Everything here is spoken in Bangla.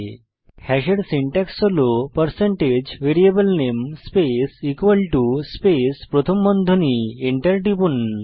হাশ হ্যাশ এর সিনট্যাক্স হল পারসেন্টেজ ভেরিয়েবল নামে স্পেস ইকুয়াল টো স্পেস প্রথম বন্ধনী Enter টিপুন